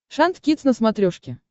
шант кидс на смотрешке